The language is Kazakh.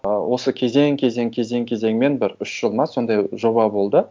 ы осы кезең кезең кезең кезеңмен бір үш жыл ма сондай жоба болды